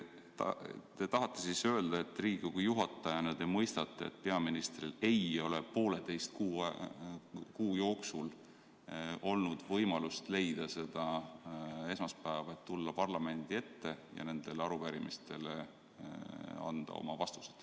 Kas te tahate siis öelda, et Riigikogu juhatajana te mõistate, et peaministril ei ole pooleteist kuu jooksul olnud võimalust leida seda esmaspäeva, et tulla parlamendi ette ja nendele arupärimistele vastused anda?